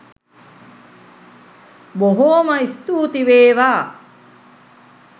බොහෝම ස්තූති වේවා.